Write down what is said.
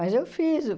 Mas eu fiz.